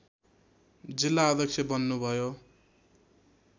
जिल्ला अध्यक्ष बन्नुभयो